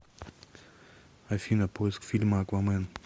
афина поиск фильма аквамен